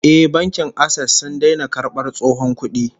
Eh, Bankin Access sun daina karbar tsohon kudi